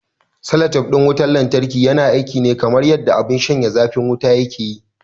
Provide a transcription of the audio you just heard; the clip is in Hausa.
Salatif ɗin wutar lantarki yana aiki ne kamar yanda abin shanye zafin wuta yake yi.